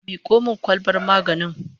Miko min kwalbar maganin